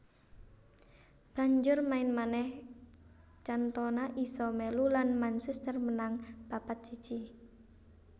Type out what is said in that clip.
Banjur main manèh Cantona isa melu lan Manchester menang papat siji